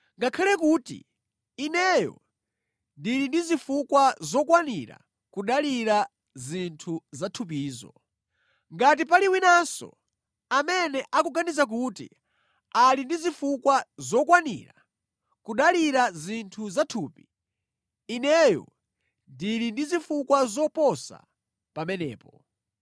ngakhale kuti ineyo ndili ndi zifukwa zokwanira kudalira zinthu za thupizo. Ngati pali winanso amene akuganiza kuti ali ndi zifukwa zokwanira kudalira zinthu za thupi, ineyo ndili ndi zifukwa zoposa pamenepo.